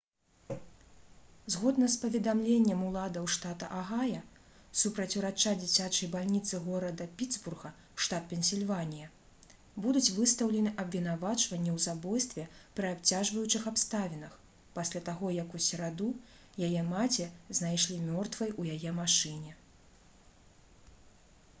згодна з паведамленнем уладаў штата агая супраць урача дзіцячай бальніцы горада пітсбурга штат пенсільванія будуць выстаўлены абвінавачванні ў забойстве пры абцяжваючых абставінах пасля таго як у сераду яе маці знайшлі мёртвай у яе машыне